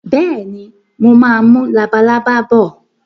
Bẹ́ẹ̀ni, mo máa mú labalábá bọ̀